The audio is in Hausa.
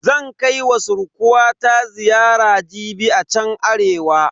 Zan kai wa surkuwata ziyara jibi a chan Arewa.